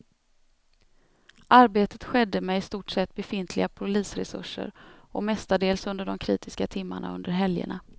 Arbetet skedde med i stort sett befintliga polisresurser och mestadels under de kritiska timmarna under helgerna.